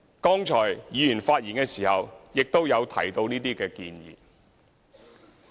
剛才議員發言的時候亦有提到這些建議。